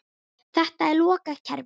Þetta er lokað kerfi.